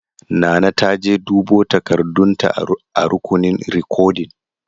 Nana ta je dubo takardun ta a rukunin rikodin.